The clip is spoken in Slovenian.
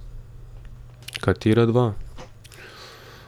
Katera dva?